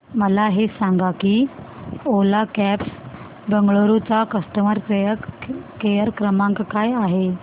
मला हे सांग की ओला कॅब्स बंगळुरू चा कस्टमर केअर क्रमांक काय आहे